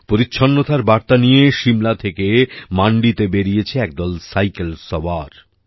পরিচ্ছন্নতার বার্তা নিয়ে সিমলা থেকে মান্ডিতে বেরিয়েছে একদল সাইকেল সওয়ার